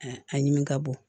a ɲimi ka bon